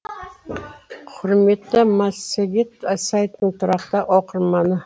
құрметті массагет сайтының тұрақты оқырманы